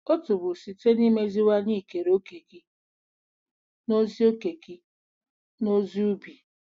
Otu bụ site n’imeziwanye ikere òkè gị n’ozi òkè gị n’ozi ubi.